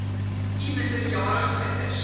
u minderjarige kinders